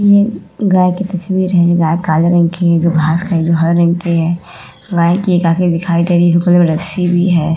ये गाय की तस्वीर है। गाय काले रंग की है जो घास खा रही है जो हरे रंग की है। गाय की एक आँख दिखाई दे रही है। रस्सी भी है।